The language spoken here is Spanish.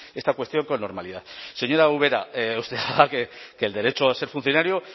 esta cuestión con normalidad señora ubera usted haga que el derecho a ser funcionario